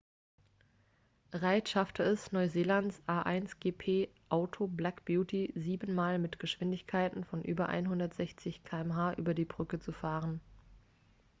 reid schaffte es neuseelands a1gp-auto black beauty sieben mal mit geschwindigkeiten von über 160 km/h über die brücke zu fahren